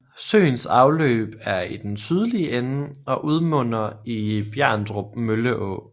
Søens afløb er i den sydlige ende og udmunder i Bjerndrup Mølleå